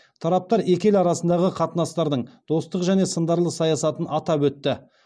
тараптар екі ел арасындағы қатынастардың достық және сындарлы саясатын атап өтті